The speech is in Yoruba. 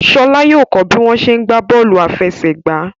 Ṣọlá yóò kó bí wọ́n ṣe ń gbá bọ́ọ̀lù àfẹsẹ̀gbá.